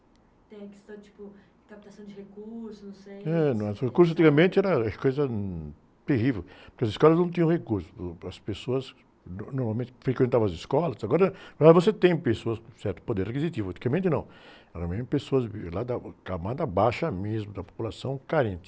Tem a questão, tipo, de captação de recursos, não sei... , não é? Os recursos antigamente era coisa, hum, terrível, porque as escolas não tinham recursos, pro, as pessoas no, normalmente frequentavam as escolas, agora, agora você tem pessoas com certo poder aquisitivo, antigamente não, eram mesmo pessoas que vinham da camada baixa mesmo, da população carente.